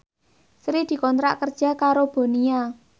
Sri dikontrak kerja karo Bonia